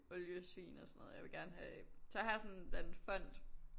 Oliesvin og sådan noget jeg vil gerne have så har jeg sådan en eller anden fond